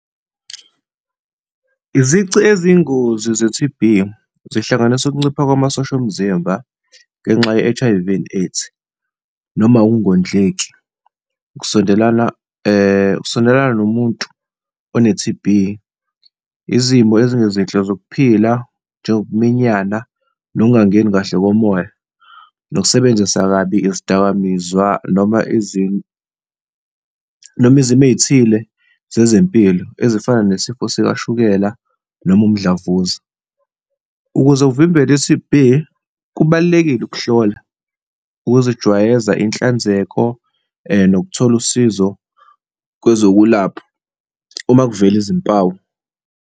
Izici eziyingozi ze-T_B zihlanganisa ukuncipha kwamasosha omzimba ngenxa ye-H_I_V and AIDS noma ukungondleki, ukusondelana, ukusondelana nomuntu one-T_B, izimo ezingezinhle zokuphila, njengokuminyana nokungangeni kahle komoya, nokusebenzisa kabi izidakamizwa noma noma izimo ey'thile zezempilo ezifana nesifo sikashukela noma umdlavuza. Ukuze uvimbele i-T_B, kubalulekile ukuhlola, ukuzijwayeza inhlanzeko nokuthola usizo kwezokwelapha uma kuvele izimpawu.